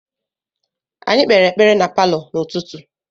Anyị kpere ekpere na palọ n’ụtụtụ.